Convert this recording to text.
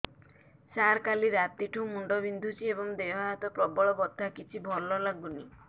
ସାର କାଲି ରାତିଠୁ ମୁଣ୍ଡ ବିନ୍ଧୁଛି ଏବଂ ଦେହ ହାତ ପ୍ରବଳ ବଥା କିଛି ଭଲ ଲାଗୁନି